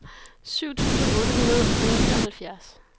syv tusind otte hundrede og nioghalvfjerds